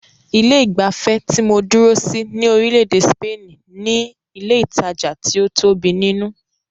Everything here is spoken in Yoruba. Ilé ìgbafẹ́ tí mó dúró sí ní orílẹ̀-èdè spaini ní ilé ìtajà tí o tóbi nínú.